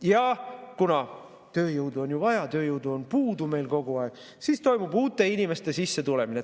Ja kuna tööjõudu on ju vaja, tööjõudu on puudu meil kogu aeg, siis toimub uute inimeste sissetulemine.